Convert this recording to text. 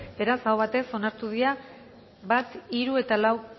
beraz aho batez onartu dira bat hiru eta lau